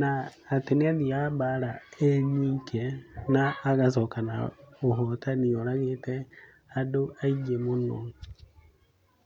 na atĩ nĩathiaga mbara e nyike na agacoka na ũhotani oragĩte andũ aingĩ mũno.